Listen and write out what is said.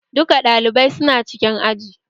Duka ɗalibai su na cikin aji